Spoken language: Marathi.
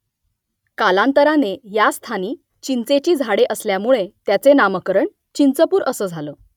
कालांतराने या स्थानी चिंचेची झाडे असल्यामुळे त्याचे नामकरण चिंचपूर असं झालं